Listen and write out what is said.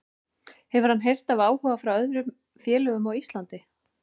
Hefur hann heyrt af áhuga frá öðrum félögum á Íslandi?